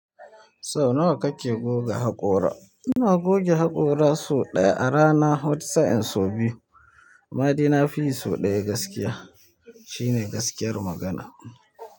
Sau nawa kake goga haƙora? Ina goge haƙora sau ɗaya a rana, wata sa'in sau biyu. Amma dai na fiyi sau ɗaya gaskiya. Shi ne gaskiyar magana.